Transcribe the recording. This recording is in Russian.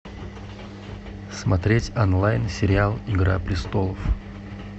смотреть онлайн сериал игра престолов